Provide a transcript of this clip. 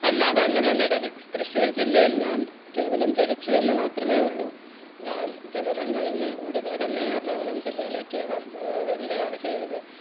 അല്ല അത് അങ്ങനെ അല്ല ടെലക്സ് ത്യശ്ശൂർ ജില്ലയിൽ ഞാൻ കേവലം ജനിച്ചു എന്ന മാത്രമേ ഉള്ളു ഞാൻ ജനനം കഴിഞ്ഞു ഉടനെ തന്നെ എറണാകുളം ജില്ലയിലേക്ക്